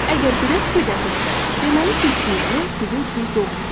Siz əgər belə fikirdəsizsə, deməli seçdiyiniz yol sizin üçün doğru deyil.